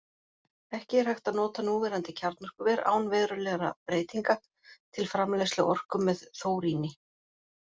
Ekki er hægt að nota núverandi kjarnorkuver, án verulegra breytinga, til framleiðslu orku með þóríni.